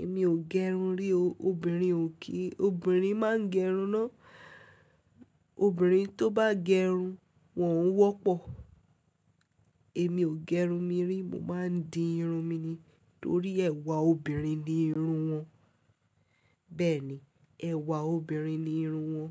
Èmi ò gé irun rí, obìnrin ò kí, obìnrin má gẹ irun ná. Obìnrin tó bá gẹ irun, wọ́n ń wọ́pọ̀. Èmi ò gé irun mi rí, mo máa ń di irun mi ni torí ẹwà obìnrin ni irun wọn. Bẹ́ẹ̀ni, ẹwà obìnrin ni irun wọn.